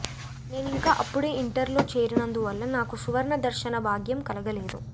నేనింకా అప్పుడే ఇంటర్లో చేరినందువల్ల నాకు సువర్ణ దర్శన భాగ్యం కలగలేదు